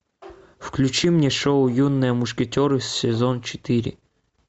включи мне шоу юные мушкетеры сезон четыре